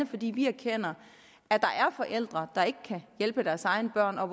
fordi vi erkender at der er forældre der ikke kan hjælpe deres egne børn og